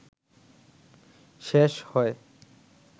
শেষ হয়